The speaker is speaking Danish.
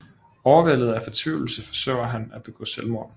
Overvældet af fortvivlelse forsøger han at begå selvmord